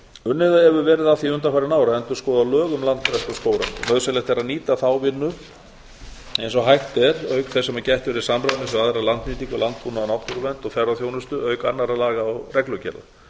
unnið hefur verið að því undanfarin ár að endurskoða lög um landgræðslu og skógrækt nauðsynlegt er að nýta þá vinnu eins og hægt er auk þess sem gætt verði samræmis við aðra landnýtingu landbúnað náttúruvernd og ferðaþjónustu auk annarra laga og reglugerða